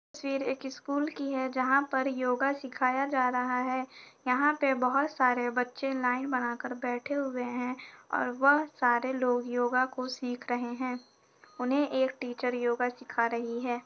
तस्वीर एक स्कूल की है जहाँ पर योगा सिखाया जा रहा हैं यहाँ पे बहोत सारे बच्चे लाइन बनाकर बैठे हुए हैं और वह सारे लोग योगा को सिख रहे हैं। उन्हें एक टीचर योगा सीखा रही है।